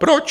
Proč?